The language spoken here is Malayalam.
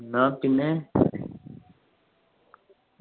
എന്ന പിന്നെ